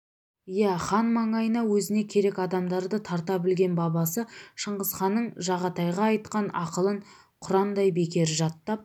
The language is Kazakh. иә хан маңайына өзіне керек адамдарды тарта білген бабасы шыңғысханның жағатайға айтқан ақылын құрандай бекер жаттап